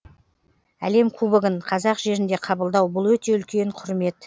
әлем кубогын қазақ жерінде қабылдау бұл өте үлкен құрмет